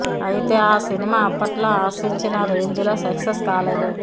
అయితే ఆ సినిమా అప్పట్లో ఆశించిన రేంజ్ లో సక్సెస్ కాలేదు